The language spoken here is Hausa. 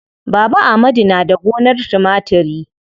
Baba amadu na da gonar timatiri.